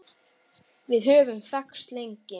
Við höfum þekkst lengi